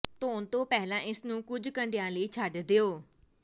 ਧੋਣ ਤੋਂ ਪਹਿਲਾਂ ਇਸ ਨੂੰ ਕੁਝ ਘੰਟਿਆਂ ਲਈ ਛੱਡ ਦਿਓ